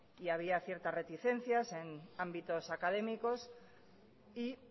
y había cierta reticencias en ámbitos académicos y